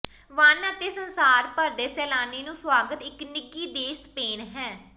one ਅਤੇ ਸੰਸਾਰ ਭਰ ਦੇ ਸੈਲਾਨੀ ਨੂੰ ਸੁਆਗਤ ਇੱਕ ਨਿੱਘੀ ਦੇਸ਼ ਸਪੇਨ ਹੈ